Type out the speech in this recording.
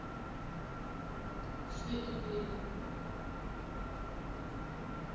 cma